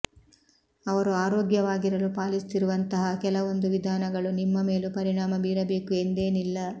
ಅವರು ಆರೋಗ್ಯವಾಗಿರಲು ಪಾಲಿಸುತ್ತಿರುವಂತಹ ಕೆಲವೊಂದು ವಿಧಾನಗಳು ನಿಮ್ಮ ಮೇಲೂ ಪರಿಣಾಮ ಬೀರಬೇಕು ಎಂದೇನಿಲ್ಲ